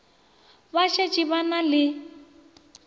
ba šetše ba na le